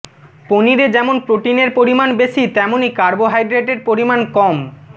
পনিরে যেমন প্রোটিনের পরিমাণ বেশি তেমনই কার্বোহাইড্রেটের পরিমাণ কম